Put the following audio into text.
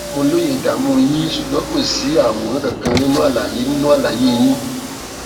mo lóye ìdààmú yín ṣùgbọn kò sí àwòrán kankan nínú àlàyé nínú àlàyé yín